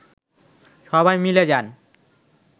সবাই মিলে যান